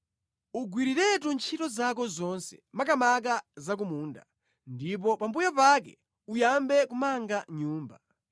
Ugwiriretu ntchito zako zonse, makamaka za ku munda ndipo pambuyo pake uyambe kumanga nyumba.